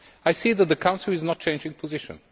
I see that the Council is not changing position.